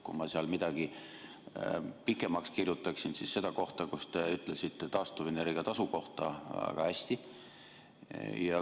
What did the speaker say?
Kui ma millestki tahaks pikemalt kirjutada, siis seda kohta, kus te ütlesite taastuvenergia tasu kohta väga hästi.